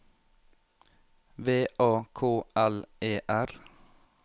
V A K L E R